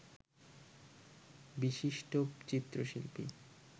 বিশিষ্ট চিত্রশিল্পী